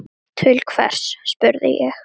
Til hvers, spurði ég.